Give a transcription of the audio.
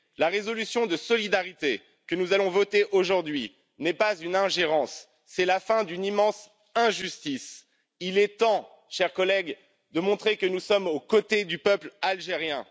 La résolution de solidarité que nous allons voter aujourd'hui n'est pas une ingérence, c'est la fin d'une immense injustice. Il est temps, chers collègues, de montrer que nous sommes aux côtés du peuple algérien.